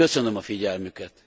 Köszönöm a figyelmüket.